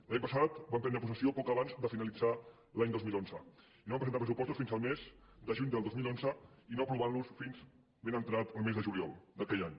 l’any passat van prendre possessió poc abans de finalitzar l’any dos mil onze no van presentar els pressupostos fins al mes de juny del dos mil onze i no es van aprovar fins ben entrat el mes de juliol d’aquell any